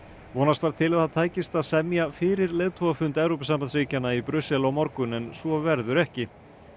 vonast var til að það tækist að semja fyrir leiðtogafund Evrópusambandsríkjanna í Brussel á morgun en svo verður ekki